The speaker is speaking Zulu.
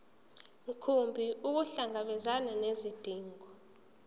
mkhumbi ukuhlangabezana nezidingo